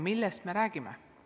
Millest me räägime?